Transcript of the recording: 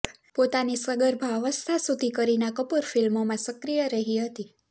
પોતાની સગર્ભા અવસ્થા સુધી કરીના કપુર ફિલ્મોમાં સક્રિય રહી હતી